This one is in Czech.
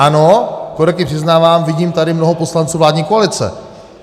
Ano, korektně přiznávám, vidím tady mnoho poslanců vládní koalice.